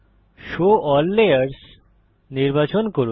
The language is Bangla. শো এএলএল লেয়ার্স নির্বাচন করুন